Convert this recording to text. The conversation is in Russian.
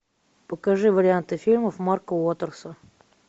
покажи варианты фильмов марка уотерса